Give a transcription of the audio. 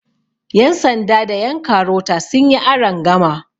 yansanda da yankarota sun yi arangama